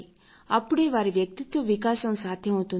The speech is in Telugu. అప్పుడే వారి వ్యక్తిత్వ వికాసం సాధ్యం అవుతుంది